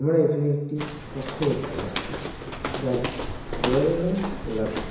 আমরা এখানে একটি কক্ষ দেখতে পাচ্ছি। যার দেওয়ালের রং গোলাপি।